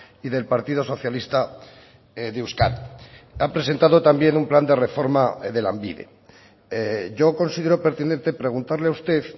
y del partido socialista de euskadi han presentado también un plan de reforma de lanbide yo considero pertinente preguntarle a usted